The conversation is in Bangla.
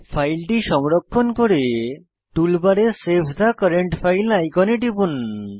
ফাইলটি সংরক্ষণ করে টুলবারে সেভ থে কারেন্ট ফাইল আইকনে টিপুন